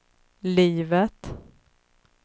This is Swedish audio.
livet